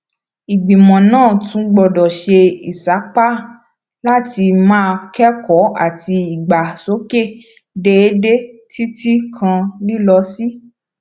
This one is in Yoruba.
ìgbìmọ náà tún gbọdọ ṣe ìsapá láti máa kékòó àti ìdàgbàsókè déédéé títí kan lílọ sí